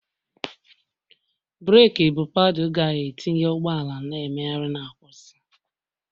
breeki bụ paddle ga-etinye ụgbọ ala na mmegharị na nkwụsị